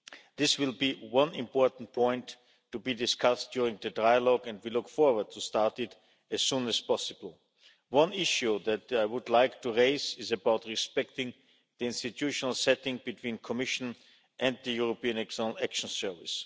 This will be one important point to be discussed during the dialogue, and we look forward to starting it as soon as possible. One issue that I would like to raise is about respecting the institutional setting between the Commission and the European External Action Service.